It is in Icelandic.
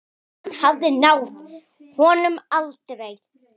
Hann hafði náð háum aldri.